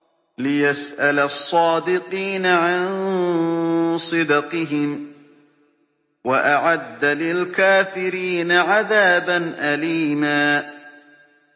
لِّيَسْأَلَ الصَّادِقِينَ عَن صِدْقِهِمْ ۚ وَأَعَدَّ لِلْكَافِرِينَ عَذَابًا أَلِيمًا